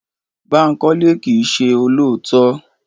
Bánkọ́lé kìí se olóòótọ́